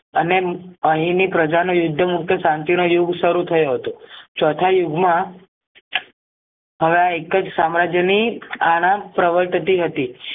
અને અહીંની પ્રજાને યુદ્ધ મુક્ત શાંતિનો યુગ સરું થયો હતો ચોથા યુગ માં હવે આ એકજ સામ્રાજ્ય ની આના પ્રવર્તતી હતી